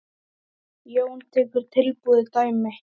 Jón tekur tilbúið dæmi.